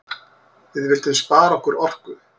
Við vildum spara okkar orku.